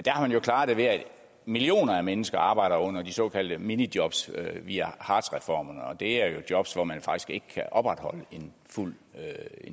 har man jo klaret det ved at millioner af mennesker arbejder under de såkaldte minijobs via hartz reformerne og det er jo jobs hvor man faktisk ikke kan opretholde en fuld